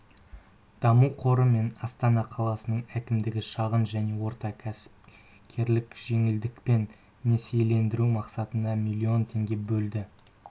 даму қоры мен астана қаласының әкімдігі шағын және орта кәсіпкерлікті жеңілдікпен несиелендіру мақсатында млн теңге бөлді